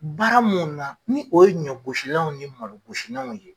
Baara mun na ni o ye ɲɔ gosilanw ni malo gosinanw ye.